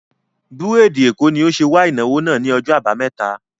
Búrèdì Èkó ni ó ṣe wà ìnáwó náà ni ọjọ́ àbámẹ́ta